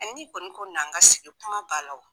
Ɛ ni kɔni ko na' an ka sigi kuma banna o.